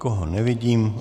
Nikoho nevidím.